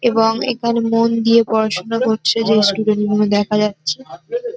এবং এখানে মন দিয়ে পড়াশুনা করছে যেই স্টুডেন্ট গুলো দেখা যাচ্ছে।